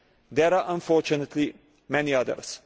There are unfortunately many others.